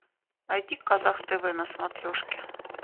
найди казах тв на смотрешке